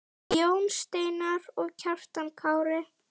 Jón Steinar og Kjartan Kári.